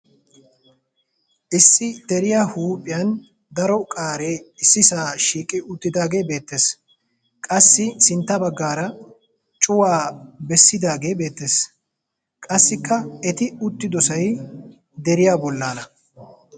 Issi deriya huuphiyan daro qaaree issisaa shiiqi uttidaagee beettees. Qassi sintta baggaara cuway bessidaagee beettees. Qassikka eti uttidosay deriya bollaana.